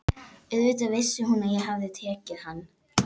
Auðvitað vissi hún að ég hafði tekið hann.